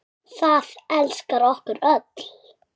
Það elskar okkur öll.